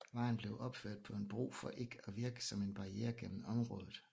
Vejen blev opført på en bro for ikke at virke som en barriere gennem området